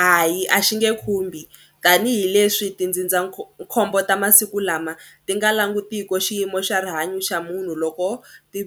Hayi a xi nge khumbi tanihileswi tindzindzakhombo ta masiku lama ti nga langutiki xiyimo xa rihanyo xa munhu loko ti